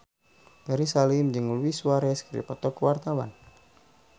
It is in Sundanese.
Ferry Salim jeung Luis Suarez keur dipoto ku wartawan